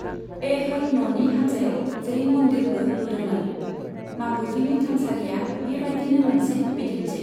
ऐह'ल न'नि हान्जायाव जैन मन्दिरबो लुदोंमोन, मागुटीनि थानसालिया बेबायदिनो मोनसे बिदिन्थि।